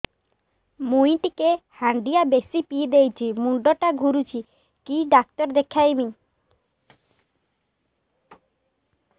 ମୁଇ ଟିକେ ହାଣ୍ଡିଆ ବେଶି ପିଇ ଦେଇଛି ମୁଣ୍ଡ ଟା ଘୁରୁଚି କି ଡାକ୍ତର ଦେଖେଇମି